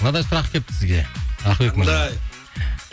мынадай сұрақ келіпті сізге ақылбек мырза қандай